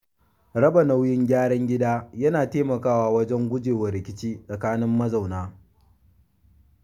Raba nauyin gyaran gida yana taimakawa wajen guje wa rikici tsakanin mazauna.